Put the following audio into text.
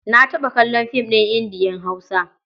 Na taɓa kallon fim ɗin Indiya-Hausa.